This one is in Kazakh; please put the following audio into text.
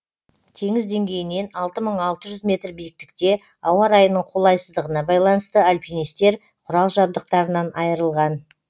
теңіз деңгейінен алты мың алты жүз метр биіктікте ауа райының қолайсыздығына байланысты альпинистер құрал жабдықтарынан айырылған